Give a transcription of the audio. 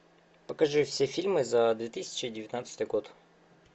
покажи все фильмы за две тысячи девятнадцатый год